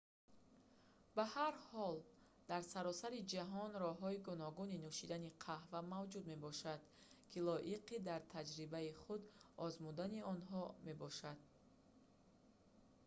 ба ҳар ҳол дар саросари ҷаҳон роҳҳои гуногуни нӯшидани қаҳва мавҷуд мебошанд ки лоиқи дар таҷрибаи худ озмудани онҳо мебошанд